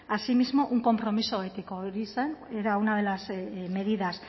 asimismo un compromiso ético hori zen era una de las medidas